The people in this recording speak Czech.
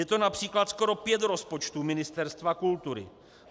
Je to například skoro pět rozpočtů Ministerstva kultury.